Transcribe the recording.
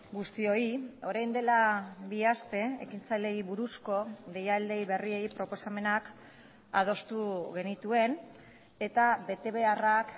guztioi orain dela bi aste ekintzaileei buruzko deialdi berriei proposamenak adostu genituen eta bete beharrak